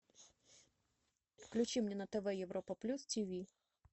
включи мне на тв европа плюс тиви